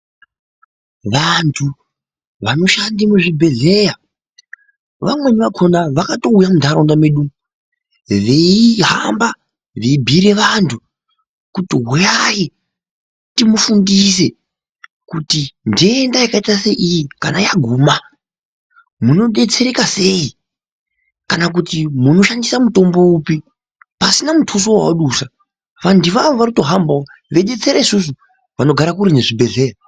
Vantu vanoshande muzvibhehleya vamweni vakona vakatouya mundaraunda medu umu veihamba veibhiire vantu kuti huyai timufundise kuti ndenda yakaita seiyi kana yaguma munodetsereka sei kana kuti munoshandisa mutombo upi pasina mutuso wawadusa . Vantu ivavo vanotohambawo veidetsera isusu vanogara kure nezvibhehleya.